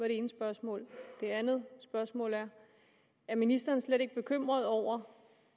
ene spørgsmål det andet spørgsmål er er ministeren slet ikke bekymret over